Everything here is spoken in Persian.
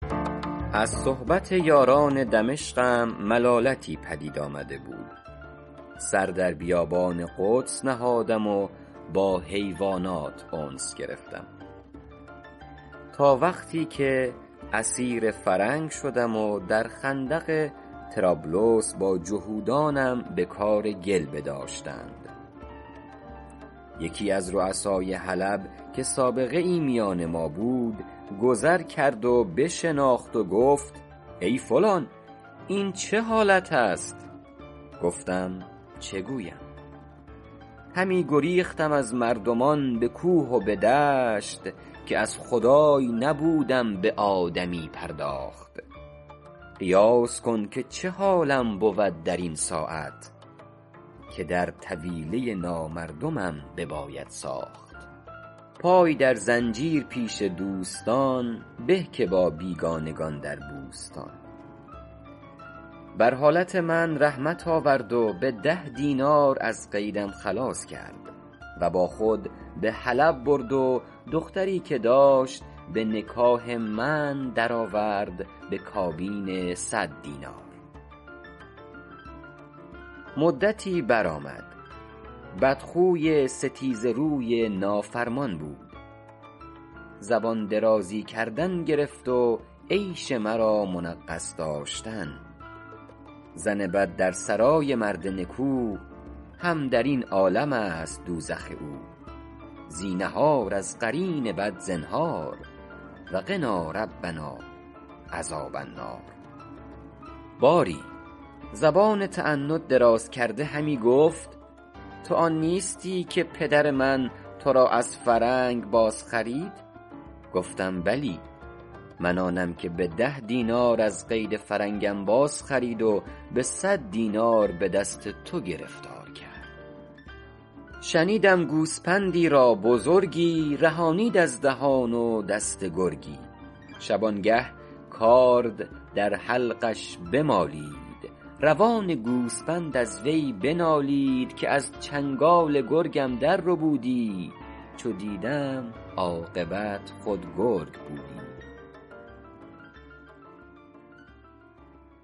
از صحبت یاران دمشقم ملالتی پدید آمده بود سر در بیابان قدس نهادم و با حیوانات انس گرفتم تا وقتی که اسیر فرنگ شدم در خندق طرابلس با جهودانم به کار گل بداشتند یکی از رؤسای حلب که سابقه ای میان ما بود گذر کرد و بشناخت و گفت ای فلان این چه حالت است گفتم چه گویم همی گریختم از مردمان به کوه و به دشت که از خدای نبودم به آدمی پرداخت قیاس کن که چه حالم بود در این ساعت که در طویله نامردمم بباید ساخت پای در زنجیر پیش دوستان به که با بیگانگان در بوستان بر حالت من رحمت آورد و به ده دینار از قیدم خلاص کرد و با خود به حلب برد و دختری که داشت به نکاح من در آورد به کابین صد دینار مدتی برآمد بدخوی ستیزه روی نافرمان بود زبان درازی کردن گرفت و عیش مرا منغص داشتن زن بد در سرای مرد نکو هم در این عالم است دوزخ او زینهار از قرین بد زنهار و قنا ربنا عذاب النار باری زبان تعنت دراز کرده همی گفت تو آن نیستی که پدر من تو را از فرنگ باز خرید گفتم بلی من آنم که به ده دینار از قید فرنگم بازخرید و به صد دینار به دست تو گرفتار کرد شنیدم گوسپندی را بزرگی رهانید از دهان و دست گرگی شبانگه کارد در حلقش بمالید روان گوسپند از وی بنالید که از چنگال گرگم در ربودی چو دیدم عاقبت خود گرگ بودی